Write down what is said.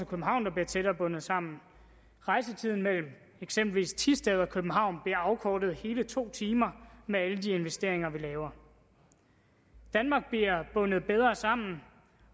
københavn der bliver tættere bundet sammen rejsetiden mellem eksempelvis thisted og københavn bliver afkortet med hele to timer med alle de investeringer vi laver danmark bliver bundet bedre sammen